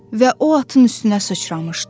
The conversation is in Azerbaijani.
Və o atın üstünə sıçramışdı.